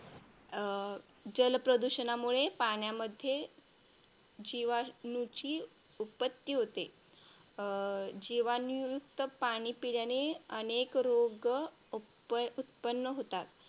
अं जलप्रदूषणामुळे पाण्यामध्ये जीवाणूची उत्पत्ती होते. जीवाणूयुक्त पाणी पिल्याने अनेक रोग उत्पन्न होतात.